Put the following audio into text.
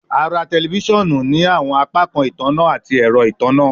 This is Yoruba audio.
A ra tẹlifisiọnu ni awọn apakan itanna ati ẹrọ itanna